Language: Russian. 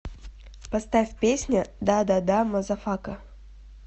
поставь песня да да да мазафака